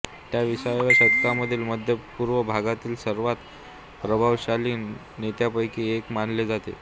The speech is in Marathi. त्याला विसाव्या शतकामधील मध्य पूर्व भागातील सर्वात प्रभावशाली नेत्यांपैकी एक मानले जाते